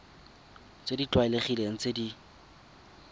tse di tlwaelegileng tse di